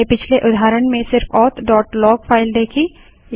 हमने पिछले उदाहरण में सिर्फ authलॉग फाइल देखी